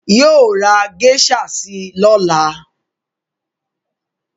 Yóò ra geisha si lọ́la